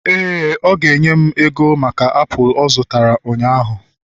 éè, ọ ga-enye m ego maka apụl ọ zụtara ụnyahụ